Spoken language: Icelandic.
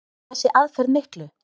Skilar þessi aðferð miklu?